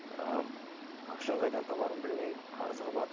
ыыы ақшаны қайдан табарымды білмей қарызға батып